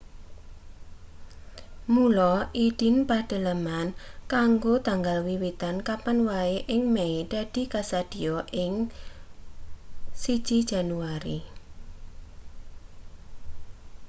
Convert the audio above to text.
mula idin pedhaleman kanggo tanggal wiwitan kapan wae ing mei dadi kasadhiya ing 1 jan